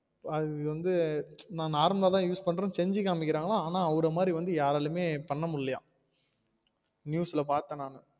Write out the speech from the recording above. அது வந்து நா normal ஆ தான் use பண்றோம் செஞ்சு காமிகாங்கலம் ஆனால் அவர மாரி வந்து யாராலையும் பண்ண முடியலையாம் news ல பாத்தேன் நானு